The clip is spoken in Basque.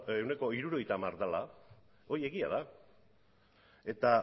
ehuneko hirurogeita hamar dela hori egia da eta